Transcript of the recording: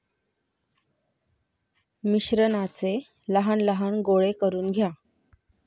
मिश्रणाचे लहान लहान गोळे करून घ्या.